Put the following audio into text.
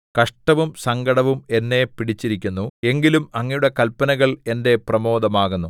കഷ്ടവും സങ്കടവും എന്നെ പിടിച്ചിരിക്കുന്നു എങ്കിലും അങ്ങയുടെ കല്പനകൾ എന്റെ പ്രമോദമാകുന്നു